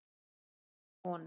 Ekki af honum.